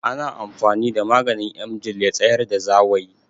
Ana amfani da maganin Emgil ya tsayar da zawayi